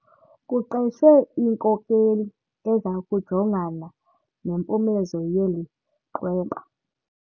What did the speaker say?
Kuqeshwe inkokeli eza kujongana nempumezo yeli qweba.